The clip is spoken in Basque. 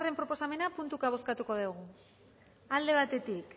proposamena puntuka bozkatuko dugu alde batetik